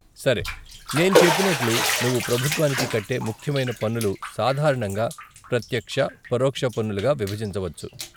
సరే, నేను చెప్పినట్లు నువ్వు ప్రభుత్వానికి కట్టే ముఖ్యమైన పన్నులు సాధారణంగా ప్రత్యక్ష, పరోక్ష పన్నులుగా విభజించ వచ్చు.